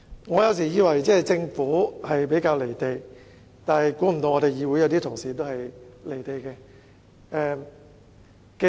我有時以為政府比較"離地"，想不到議會內一些同事也同樣"離地"。